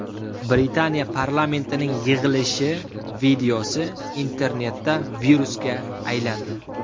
Britaniya parlamentining yig‘ilishi videosi internetda virusga aylandi.